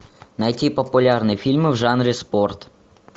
найти популярные фильмы в жанре спорт